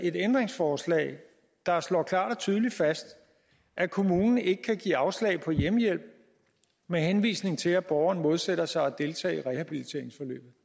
et ændringsforslag der slår klart og tydeligt fast at kommunen ikke kan give afslag på hjemmehjælp med henvisning til at borgeren modsætter sig at deltage i et rehabiliteringsforløb